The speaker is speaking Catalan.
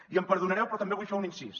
i em perdonareu però també vull fer un incís